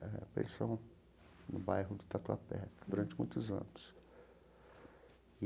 Eh, pensão no bairro do Tatuapé, durante muitos anos.